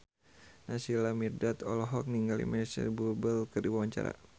Naysila Mirdad olohok ningali Micheal Bubble keur diwawancara